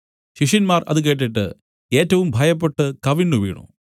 ശിഷ്യന്മാർ അത് കേട്ടിട്ട് ഏറ്റവും ഭയപ്പെട്ടു കവിണ്ണുവീണു